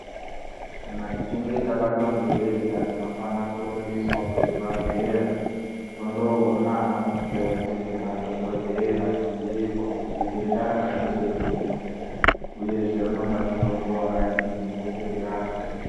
Kana tichinge tabatwa ngedenda tinofana kurumbiswa kuchibhadhleya, tondoona anamukoti ngemadhokodheya ,tobhuirwa kuti idenda rakangenyi, uyezve rinoda mutombo wakadini kuti tirapwe.